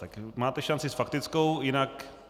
Tak máte šanci s faktickou, jinak...